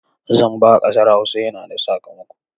Zamba a ƙasar Hausa yana da sakamako.